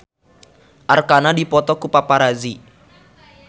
Arkarna dipoto ku paparazi